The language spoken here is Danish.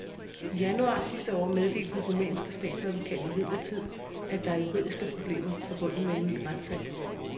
I januar sidste år meddelte den rumænske statsadvokat imidlertid, at der er juridiske problemer forbundet med en ny retssag.